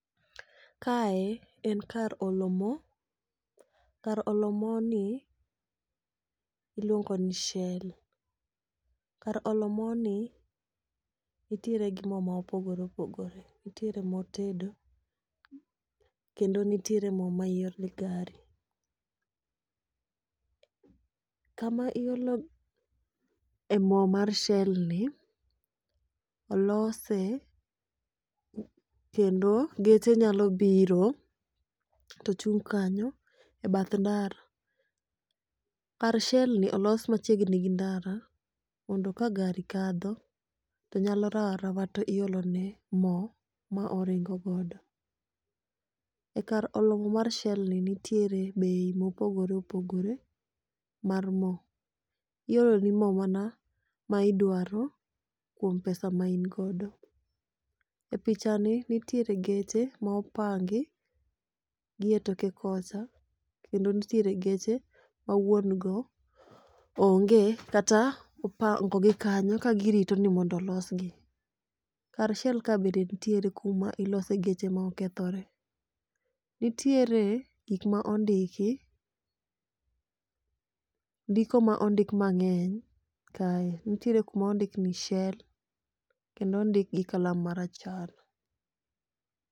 Kae en kar olo mo, kar olo moni iluongo ni Shell. Kar olo moni nitiere gi mo mopogore opogore, nitiere mo tedo, kendo nitiere mo ma iole gari. Kama iolo e mo mar Shell ni olose kendo geche nyalo biro to chung' kanyo e bath ndara. Kar Shell ni olos machiegni gi ndara mondo ka gari kadho to nyalo rawo arawa to iolo ne mo ma oringo godo. E kar olo mo mar Shell ni nitiere bei mopogore opogore mar mo. Ioloni mo mana ma idwaro kuom pesa ma in godo. E pichani nitiere geche ma opangi gi toke kocha, kendo nitiere geche ma wuon go onge kata ipangogi kanyo ka girito ni mondo olosgi. Kar Shell ka bende nitiere kuma ilose geche ma okethore. Nitiere gik ma ondiki, ndiko ma ondik mang'eny kae, nitiere kuma ondik ni Shell kendo ondik gi kalam marachar.